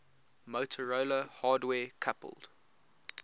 motorola hardware coupled